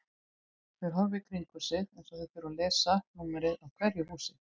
Þeir horfa í kringum sig eins og þeir þurfi að lesa númerin á hverju húsi.